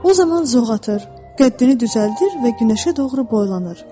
O zaman zoğ atır, qəddini düzəldir və günəşə doğru boylanır.